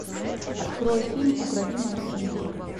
открой фильм укради мою жену